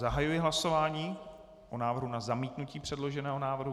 Zahajuji hlasování o návrhu na zamítnutí předloženého návrhu.